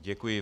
Děkuji.